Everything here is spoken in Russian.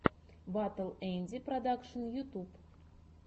батл энди продакшн ютьюб